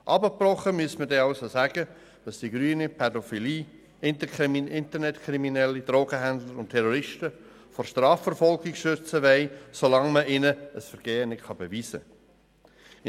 Eigentlich müsste man sagen, dass die Grünen Pädophilie, Internetkriminalität, Drogenhändler und Terroristen vor Strafverfolgung schützen wollen, solange man diesen ein Vergehen nicht nachweisen kann.